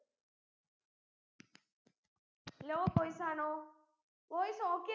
low voice ആണോ voice okay